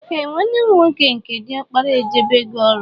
Ee nwanne mụ nwoke nke diọkpara ejebego ọrụ